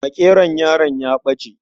Makeron yaron ya ɓace.